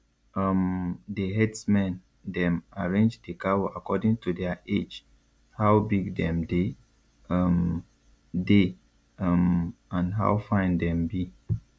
um the herdsmen dem arrange the cow according to their age how big them dey um dey um and how fine them be